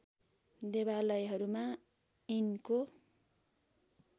देवालयहरूमा यिनको